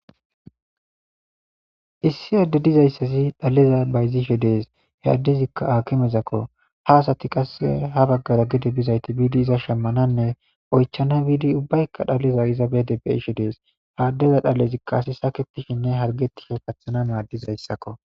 Issi aadde dizayssazi dhaliza bayzishe dees he addezikka akimezakko ha asati qasse ha baggara gidi bizayti biidi iza shemmananne oychana biidi ubbaykka dhaleza iza bede bishi dees haaddeza dhalezikka asi saketishinne hargetisho pathana maaddizayssakko.